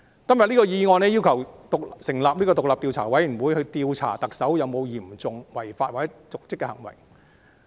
今天的議案要求成立獨立調查委員會，調查特首有否嚴重違法或瀆職行為。